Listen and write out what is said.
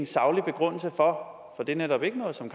saglig begrundelse for for det er netop ikke noget som